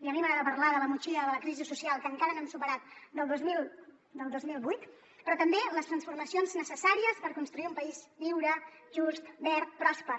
i a mi m’agrada parlar de la motxilla de la crisi social que encara no hem superat del dos mil vuit però també les transformacions necessàries per construir un país lliure just verd pròsper